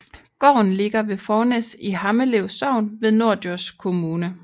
Gården ligger ved Fornæs i Hammelev Sogn i Norddjurs Kommune